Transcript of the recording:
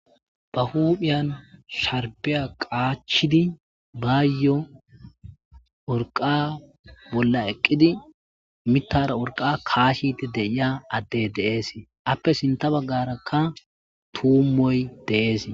ba huuphiyan sharbiya qaachidi baayyo orqa bolla eqqidi mitara orqa kaashide deiya adde deees appe sinta baggarakka tuummoy de'ees